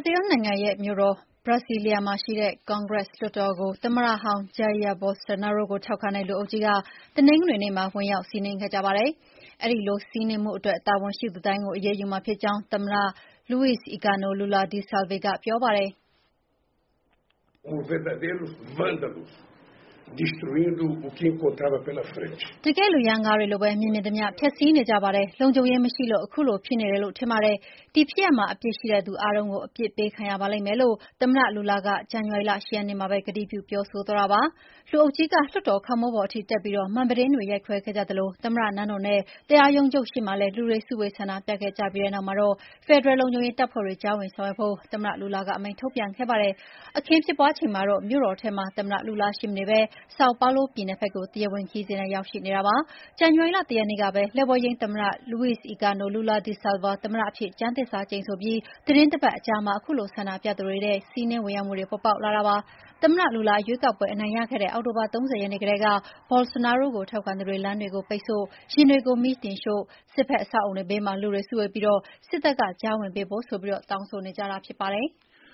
ဇီးလ်နိုင်ငံရဲ့ မြို့တော် Brasília မှာရှိတဲ့ ကွန်ဂရက်လွှတ်တော်ကို သမ္မတဟောင်း Jair Bolsonaro ကိုထောက်ခံတဲ့ လူအုပ်ကြီးက တနင်္ဂနွေနေ့မှာ ဝင်ရောက်စီးနင်းခဲ့ကြပါတယ်။ ဒီလိုစီးနင်းမှုအတွက် တာဝန်ရှိသူတိုင်းကို အရေးယူမှာ ဖြစ်ကြောင်း သမ္မတ Luiz Inacio Lula da Silva က ပြောပါတယ်။ “တကယ့်လူရမ်းကားတွေလိုပဲ မြင်မြင်သမ ျှဖျက်ဆီးနေကြပါတယ်။ လုံခြုံရေးမရှိလို့ ခုလိုဖြစ်နေတယ်လို့ထင်ပါတယ်။ ဒီဖြစ်ရပ်မှာ အပြစ်ရှိတဲ့လူအားလုံး အပြစ်ပေးခံရပါလိမ့်မယ်လို့ သမ္မတ Lula က ဇန်နဝါရီလ ၈ ရက်နေ့မှာပဲကတိပြုပြောဆိုသွားတာပါ။ လူုအုပ်ကြီးက လွှတ်တော်ခေါင်မိုးပေါ်ထိတက်ပြီး မှန်ပြတင်းတွေရိုက်ခွဲခဲ့ကြသလို သမ္မတနန်းတော် နဲ့ တရားရုံးချုပ် ရှေ့မှာလည်း လူတွေစုဝေး ဆန္ဒပြခဲ့ကြပြီးတဲ့နောက်မှာတော့ ဖယ်ဒရယ်လုံခြုံရေးတပ်ဖွဲ့တွေ ကြားဝင်ဆောင်ရွက်ဖို့ သမ္မတ Lula ကအမိန့်ထုတ်ပြန်ခဲ့ပါတယ်။ အခင်းဖြစ်ပွါးချိန်မှာတော့ မြို့တော်ထဲမှာ သမ္မတ Lula ရှိမနေပဲ Sao Paulo ပြည်နယ်ဖက် ကို တရားဝင်ခရီးစဉ်နဲ့ရောက်ရှိနေတာပါ။ ဇန်နဝါရီလ ၁ ရက်နေ့က လက်ဝဲယိမ်းသမ္မတ Luiz Inácio Lula da Silva သမ္မတအဖြစ် ကျမ်းသစ္စာကျိန်ဆိုပြီး သီတင်းတပတ်အကြာမှာ ခုလို ဆန္ဒပြသူတွေရဲ့ စီးနင်းဝင်ရောက်မှုတွေ ပေါ်ပေါက်လာတာဖြစ်ပါတယ်။ သမ္မတ Lula ရွေးကောက်ပွဲအနိုင်ရခဲ့တဲ့ အောက်တိုဘာလ ၃၀ ရက်နေ့ကတည်းက Bolsonaro ကိုထောက်ခံသူတွေ လမ်းတွေကိုပိတ်ဆို့တာ၊ ယာဉ်တွေကို မီးတင်ရှို့တာ၊ စစ်ဖက်အဆောက်အအုံတွေဘေးမှာ လူတွေစုဝေးပြီး စစ်တပ်က ကြားဝင်ပေးဖို့ဆိုပြီး တောင်းဆိုနေကြတာဖြစ်ပါတယ်။